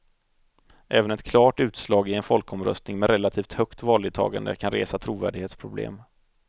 Även ett klart utslag i en folkomröstning med relativt högt valdeltagande kan resa trovärdighetsproblem.